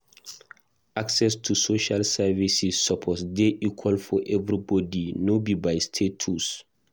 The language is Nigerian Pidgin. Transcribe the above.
Access to social services suppose dey equal for everybody, no be by status.